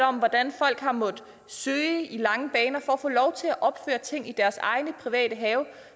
om hvordan folk har måttet søge i lange baner for at få lov til at opføre ting i deres private have